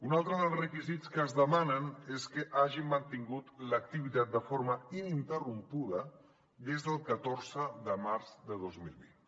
un altre dels requisits que es demanen és que hagin mantingut l’activitat de forma ininterrompuda des del catorze de març de dos mil vint